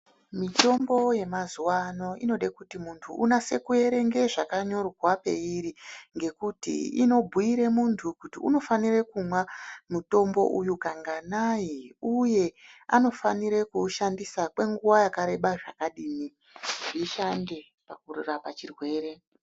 Mitombo yamazuva ano inode kuti muntu unase kuverenge zvakanyorwa peiri. Ngekuti inobhuire muntu kuti unofanire kumwa mutombo uyu kanganai, uye anofanire kuushandisa kwenguva yakareba zvakadini zvishande pakurapa chirwere.